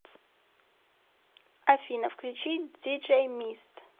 афина включи диджей мист